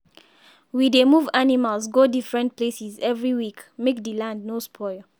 we dey move animals go different places every week make the land no spoil.